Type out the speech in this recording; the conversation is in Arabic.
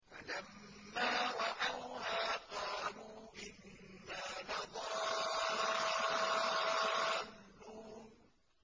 فَلَمَّا رَأَوْهَا قَالُوا إِنَّا لَضَالُّونَ